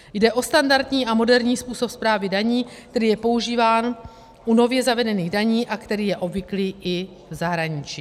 Jde o standardní a moderní způsob správy daní, který je používán u nově zavedených daní a který je obvyklý i v zahraničí.